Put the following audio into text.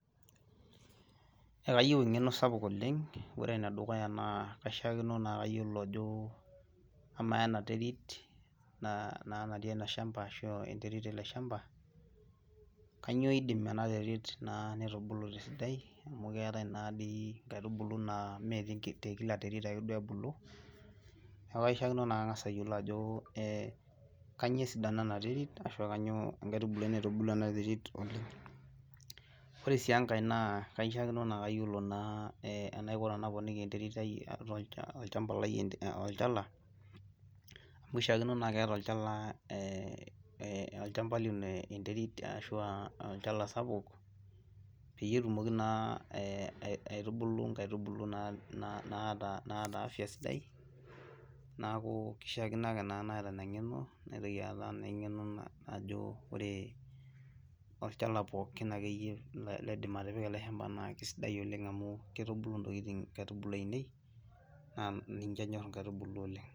Ekayieu eng'eno sapuk oleng, ore ene dukuya naa kaishakenoo naa kayioolo ajo, amaa ena terit naa natii ele shampa ashu enterit ele shampa, kainyioo idim ena terit naa nitubulu te sidai amu keetae naa sii, nkaitubulu naa mme te Kila terit ake duo ebulu, neeku kaishakino naa kang'as ayiolo ajo ee kainyioo esidano ena terit, ashu kainyioo nkaitubulu ena terit, ore sii enkae naa kaishakino naa kayioolo naa enaiko tenaponiki enterit olchampa , olchala, amu ishaakino naa keeta olchampa lino enterit ashu olchala sapuk peyie etumoki naa aitubulu nkaitubulu, naata afia sidai. neeku keishaakino ake naata Ina ng'eno naitoki aata, naa engeno najo ore olchala pookin akeyie laidim atipika ele shampa naa kisidai oleng amu kitubulu ntokitin inkaitubulu, ainei, naa ninche enyor I ankaibuli oleng.